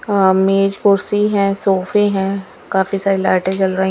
अ मेज़ कुर्सी हैं सोफे हैं काफी सारे लाइटे जल रही--